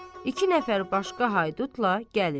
iki nəfər başqa haydutla gəlir.